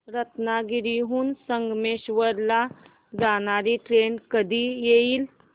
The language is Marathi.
रत्नागिरी हून संगमेश्वर ला जाणारी ट्रेन कधी येईल